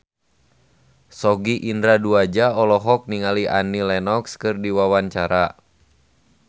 Sogi Indra Duaja olohok ningali Annie Lenox keur diwawancara